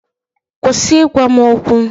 Kwụsị ịgwa m okwu!